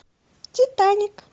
титаник